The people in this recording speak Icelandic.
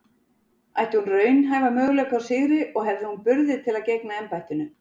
Ætti hún raunhæfa möguleika á sigri og hefði hún burði til að gegna embættinu?